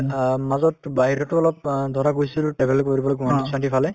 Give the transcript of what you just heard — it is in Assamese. অ, মাজত বাহিৰতো অলপ অ ধৰা গৈছিলো travel কৰিবলৈ গুৱাহাটীৰ ফালে